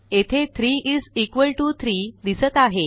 येथे 3 is equal T O 3 दिसत आहे